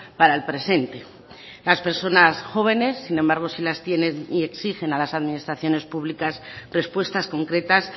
para el presente las personas jóvenes sin embargo sí las tienen y exigen a las administraciones públicas respuestas concretas